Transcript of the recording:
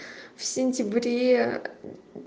в сентябре